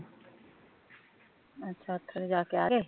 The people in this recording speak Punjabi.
ਅੱਛਾ ਉੱਥੇ ਜਾ ਕੇ ਆ ਗਏ